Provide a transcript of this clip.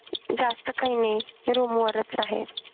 जास्त काही नाही room वरच आहे